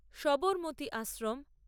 Sabarmati Ashram